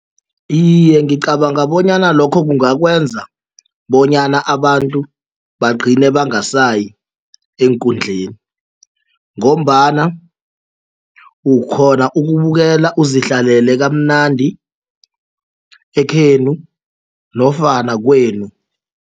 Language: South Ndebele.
Iye, ngicabanga bonyana lokho kungakwenza bonyana abantu bagcine bangasayi eenkundleni ngombana ukghona ukubukela uzihlalele kamnandi ekhenu nofana kwenu.